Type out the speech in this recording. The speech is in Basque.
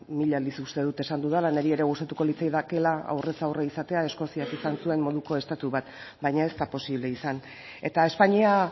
mila aldiz uste dut esan dudala niri ere gustatuko litzaidakeela aurrez aurre izatea eskoziak izan zuen moduko estatu bat baina ez da posible izan eta espainia